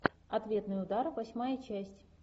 ответный удар восьмая часть